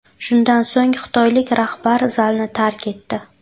Shundan so‘ng xitoylik rahbar zalni tark etdi.